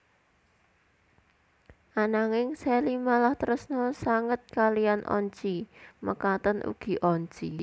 Ananging Shelly malah tresna sanget kaliyan Oncy mekaten ugi Oncy